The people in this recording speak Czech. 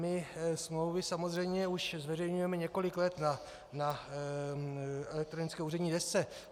My smlouvy samozřejmě už zveřejňujeme několik let na elektronické úřední desce.